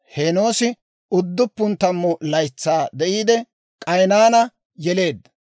Heenoosi 90 laytsaa de'iide, K'aynaana yeleedda;